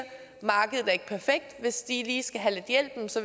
hvis de lige skal have lidt hjælp